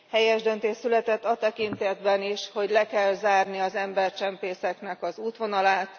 Helyes döntés született a tekintetben is, hogy le kell zárni az embercsempészek útvonalát.